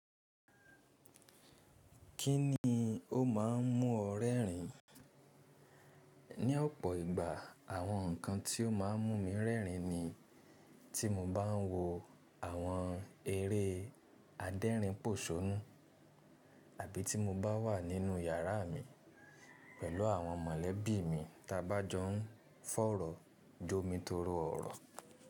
Kínni ó ma ń mú ọ rẹ́rìn? Ni ọ̀pọ̀ ìgbà àwọn ǹkan tí ó má ń mú mi rẹ́rìn ni tí mo bá ń wo àwọn eré adẹ́rìn pòṣónú àbí tí mo bá wà nínú yàrá mi pẹ̀lú àwọn mọ̀lẹ́bí mi taa bá jọ ń fọ̀rọ̀, jó mi torí ọ̀rọ̀